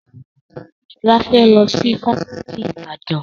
Sọlá fẹ́ lọ sí Fáṣítì Ibadan